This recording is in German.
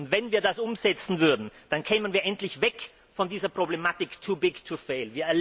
Wenn wir es umsetzen würden, dann kämen wir endlich weg von dieser Problematik too big to fail